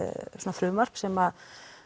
frumvarp sem